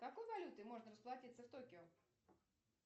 какой валютой можно расплатиться в токио